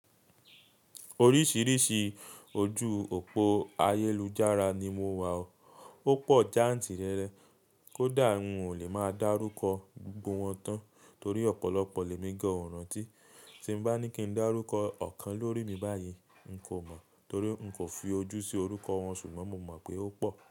Oríṣìíríṣìí ojú òpó ayélujára ni mo wà ó. Ó pọ̀ jáǹtì rẹrẹ kódà mi ò lè máa dárúkọ gbogbo wọn tán torí ọ̀pọ̀lọpọ̀ lè mí gán ó rantí. Tí bá ní kí n dárúkọ ọ̀kan lórí mi báyìí, n kò mọ torí n kò fi ojú sí orúkọ wọn ṣùgbọ́n mo mọ̀ pé ó pọ̀